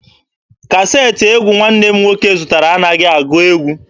Kaseetị egwu nwanne m nwoke zụtara anaghị agụ egwu.